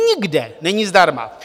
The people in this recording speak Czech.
Nikde není zdarma!